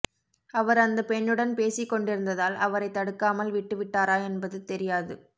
அவர் அந்த பெண்ணுடன் பேசிக் கொண்டிருந்ததால் அவரைத் தடுக்காமல் விட்டு விட்டாரா என்பது தெரியாது